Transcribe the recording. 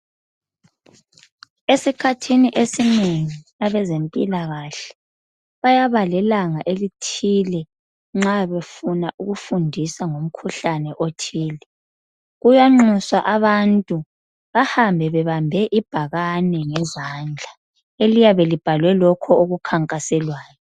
Eskhathini esinengi abazephilakhahle bayaba lelanga elithile , nxa befuna ngokufundisa ngomkhuhlane othile. Kuyaxuswa abantu bahambe bebambe ibhakani ngezandla, eliyabe libhalwe lokho okukhankaselwayo.